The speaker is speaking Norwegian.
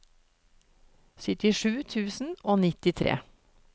syttisju tusen og nittitre